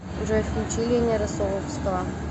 джой включи лени россоловского